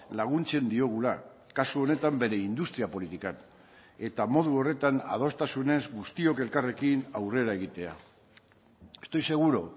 laguntzen diogula kasu honetan bere industria politikan eta modu horretan adostasunez guztiok elkarrekin aurrera egitea estoy seguro